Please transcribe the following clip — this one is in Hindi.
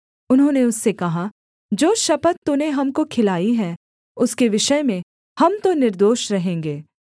उन्होंने उससे कहा जो शपथ तूने हमको खिलाई है उसके विषय में हम तो निर्दोष रहेंगे